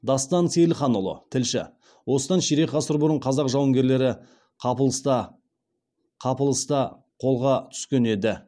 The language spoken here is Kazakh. дастан сейілханұлы тілші осыдан ширек ғасыр бұрын қазақ жауынгерлері қапылыста қолға түскен еді